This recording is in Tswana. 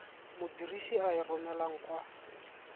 modirisi a e romelang kwa